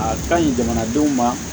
A ka ɲi jamanadenw ma